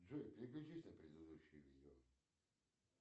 джой переключись на предыдущее видео